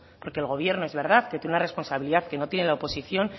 porque el gobierno es verdad que tiene una responsabilidad que no tiene la oposición